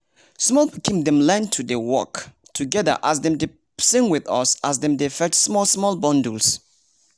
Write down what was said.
small pikin dem learn to dey work together as dem dey sing with us as dem dey fetch small small bundles.